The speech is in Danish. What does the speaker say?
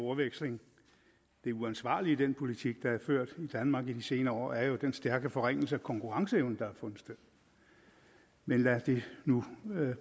ordveksling det uansvarlige i den politik der er ført i danmark i de senere år er jo den stærke forringelse af konkurrenceevnen der har fundet sted men lad det nu